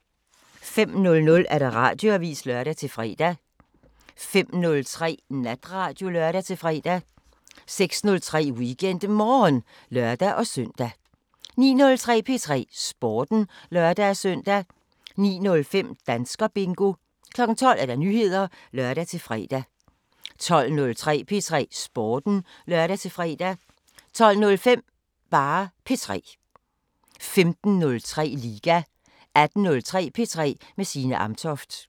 05:00: Radioavisen (lør-fre) 05:03: Natradio (lør-fre) 06:03: WeekendMorgen (lør-søn) 09:03: P3 Sporten (lør-søn) 09:05: Danskerbingo 12:00: Nyheder (lør-fre) 12:03: P3 Sporten (lør-fre) 12:05: P3 15:03: Liga 18:03: P3 med Signe Amtoft